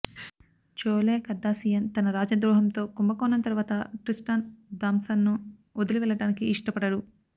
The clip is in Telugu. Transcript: చోలే కర్దాశియాన్ తన రాజద్రోహంతో కుంభకోణం తరువాత ట్రిస్టాన్ థామ్సన్ ను వదిలి వెళ్ళటానికి ఇష్టపడడు